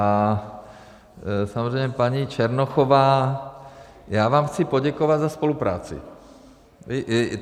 A samozřejmě, paní Černochová, já vám chci poděkovat za spolupráci.